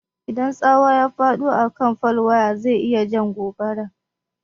Idan tsawa ya faɗo a fol waya, zai iya jan gobara.